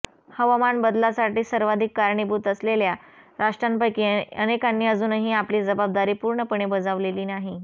हवामान बदलासाठी सर्वाधित कारणीभूत असलेल्या राष्ट्रांपैकी अनेकांनी अजूनही आपली जबाबदारी पूर्णपणे बजावलेली नाही